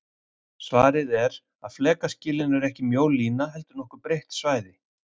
Svarið er að flekaskilin eru ekki mjó lína heldur nokkuð breitt svæði.